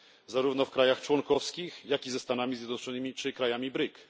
zarówno w krajach członkowskich, jak i ze Stanami Zjednoczonymi czy krajami BRIC.